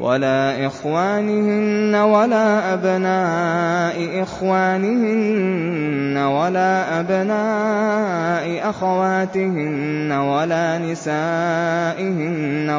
وَلَا إِخْوَانِهِنَّ وَلَا أَبْنَاءِ إِخْوَانِهِنَّ وَلَا أَبْنَاءِ أَخَوَاتِهِنَّ وَلَا نِسَائِهِنَّ